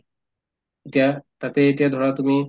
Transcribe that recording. এতিয়া তাতে এতিয়া ধৰা তুমি